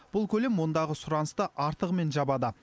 бұл көлем ондағы сұранысты артығымен жабады